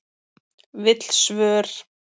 Vill svör